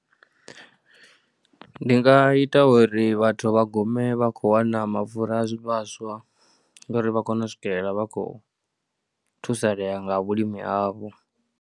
Ndi nga ita uri vhathu vha gume vha khou wana mapfhura a zwivhaswa ngauri vha kone u swikelela vha khou thusalea nga vhulimi havho.